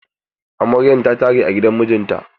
Amaryan ta tare a gidan mijinta.